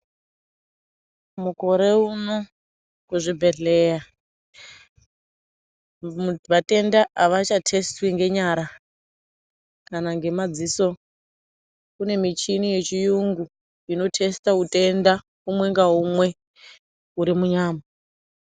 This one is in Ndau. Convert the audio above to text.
Mukore uno kuzvibhedhlera vatenda avachathesitwi ngenyara kana ngemadziso. Kune michini yechiyungu unothesite utenda umwe ngaumwe uri munyama.